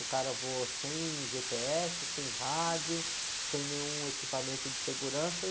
O cara voou sem gê-pê-ésse, sem rádio, sem nenhum equipamento de segurança.